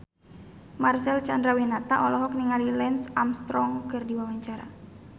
Marcel Chandrawinata olohok ningali Lance Armstrong keur diwawancara